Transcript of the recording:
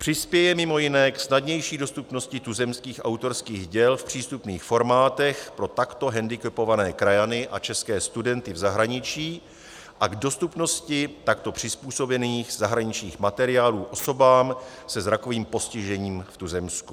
Přispěje mimo jiné k snadnější dostupnosti tuzemských autorských děl v přístupných formátech pro takto handicapované krajany a české studenty v zahraničí a k dostupnosti takto přizpůsobených zahraničních materiálů osobám se zrakovým postižením v tuzemsku.